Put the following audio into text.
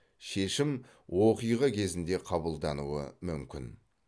шешім оқиға кезінде қабылдануы мүмкін